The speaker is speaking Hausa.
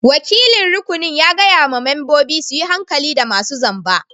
Wakilin rukunin ya gaya ma membobin su yi hankali da masun zamba.